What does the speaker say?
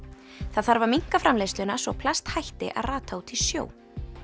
það þarf að minnka framleiðsluna svo plast hætti að rata út í sjó